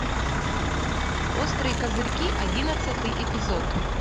острые козырьки одиннадцатый эпизод